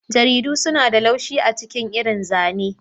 Jaridu suna da laushi a ciki irin zane.